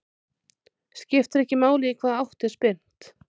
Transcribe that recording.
Skiptir ekki máli í hvaða átt er spyrnt.